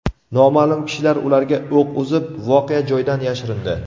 Noma’lum kishilar ularga o‘q uzib, voqea joyidan yashirindi.